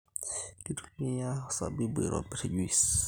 Kitumia osabibu aitobir juis